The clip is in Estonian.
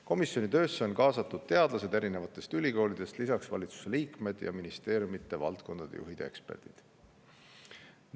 Komisjoni töösse on kaasatud teadlased erinevatest ülikoolidest, lisaks valitsuse liikmed ja ministeeriumide valdkonnajuhid ja eksperdid.